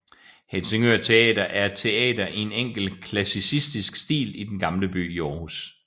Helsingør Theater er et teater i en enkel klassicistisk stil i Den Gamle By i Aarhus